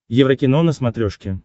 еврокино на смотрешке